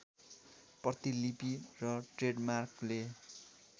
प्रतिलिपि र ट्रेडमार्कले